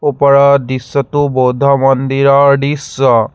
ওপৰৰ দৃশ্যটো বৌদ্ধ মন্দিৰৰ দৃশ্য।